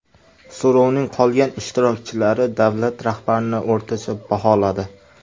So‘rovning qolgan ishtirokchilari davlat rahbarini o‘rtacha baholadi.